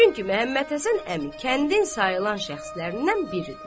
Çünki Məhəmmədhəsən əmi kəndin sayılan şəxslərindən biridir.